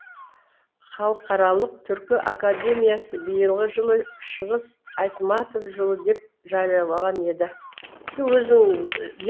халықаралық түркі академиясы биылғы жылды шыңғыс айтматов жылы деп жариялаған еді